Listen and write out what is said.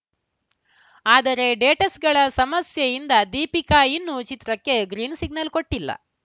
ಆದರೆ ಡೇ ಟ್ಸ್‌ಗಳ ಸಮಸ್ಯೆಯಿಂದ ದೀಪಿಕಾ ಇನ್ನೂ ಚಿತ್ರಕ್ಕೆ ಗ್ರೀನ್‌ ಸಿಗ್ನಲ್‌ ಕೊಟ್ಟಿಲ್ಲ